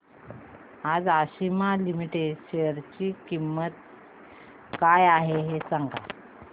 आज आशिमा लिमिटेड च्या शेअर ची किंमत काय आहे हे सांगा